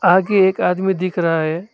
आगे एक आदमी दिख रहा है।